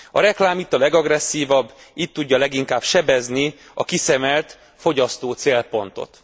A reklám itt a legagresszívabb, itt tudja leginkább sebezni a kiszemelt fogyasztói célpontot.